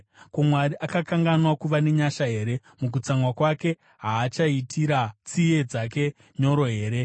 Ko, Mwari akanganwa kuva nenyasha here? Mukutsamwa kwake haachaitira tsiye dzake nyoro here?”